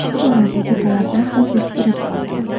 Bu boradagi talablar ham eskirib qolgan.